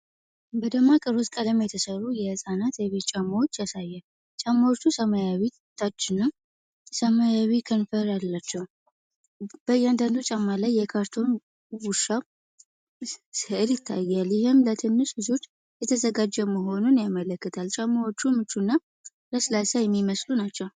በደማቅ ሮዝ ቀለም የተሠሩ የሕፃናት የቤት ጫማዎችን ያሳያል። ጫማዎቹ ሰማያዊ ታችና ሰማያዊ ከንፈር አላቸው። በእያንዳንዱ ጫማ ላይ የካርቶን ውሻ ሥዕል ይታያል፤ ይህም ለትንሽ ልጆች የተዘጋጀ መሆኑን ያመለክታል። ጫማዎቹ ምቹና ለስላሳ የሚመስሉ ናቸው።